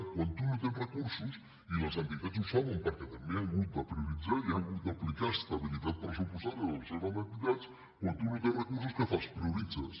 quan tu no tens recursos i les entitats ho saben perquè també han hagut de prioritzar i han hagut d’aplicar estabilitat pressupostària a les seves entitats què fas prioritzes